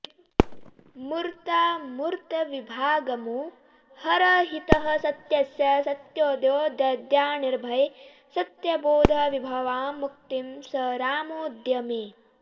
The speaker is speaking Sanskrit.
मूर्तामूर्तविभागमोहरहितः सत्यस्य सत्योऽद्वयो दद्यान्निर्भयसत्यबोधविभवां मुक्तिं स रामोऽद्य मे